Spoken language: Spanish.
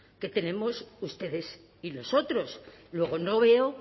que tenemos ustedes y nosotros luego no veo